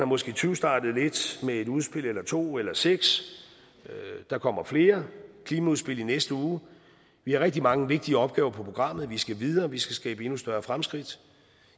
måske tyvstartet lidt med et udspil eller to eller seks der kommer flere klimaudspil i næste uge vi har rigtig mange vigtige opgaver på programmet vi skal videre vi skal skabe endnu større fremskridt